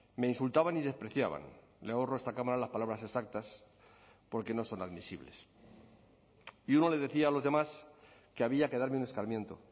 me insultaban y despreciaban le ahorro a esta cámara las palabras exactas porque no son admisibles y uno le decía a los demás que había que darme un escarmiento